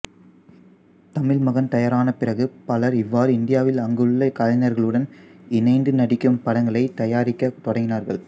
தமிழ் மகன் தயாரான பிறகு பலர் இவ்வாறு இந்தியாவில் அங்குள்ள கலைஞர்களுடன் இணைந்து நடிக்கும் படங்களைத் தயாரிக்கத் தொடங்கினார்கள்